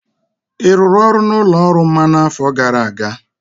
Ị rụrụ ọrụ n'ụlọ ọrụ mmanụ n'afọ gara aga?